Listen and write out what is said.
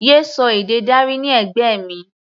Yé sọ èdè Dari ní ẹ̀gbẹ́ mi!